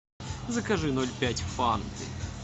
закажи ноль пять фанты